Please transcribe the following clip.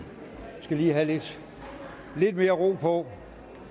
skal lige have lidt mere ro på